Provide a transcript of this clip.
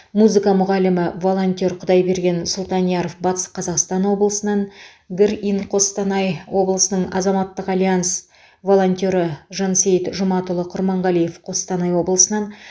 музыка мұғалімі волонтер құдайберген сұлтанияров батыс қазақстан облысынан грин қостанай облысының азаматтық альянс волонтері жансейіт жұматұлы құрманғалиев қостанай облысынан